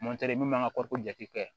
min b'an ka jate kɛ